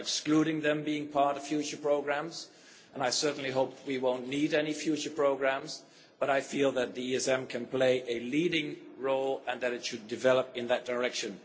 I am not excluding them from being part of future programmes and I certainly hope we won't need any future programmes, but I feel that the ESM can play a leading role and that it should develop in that direction.